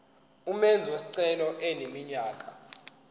umenzi wesicelo eneminyaka